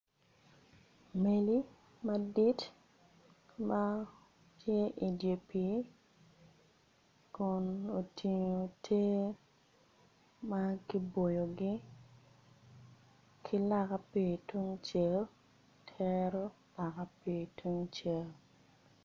Mego madit matye idyer pi kun otingo tiye makiboyogi ki naka pi tungcel tero naka pi tungcel.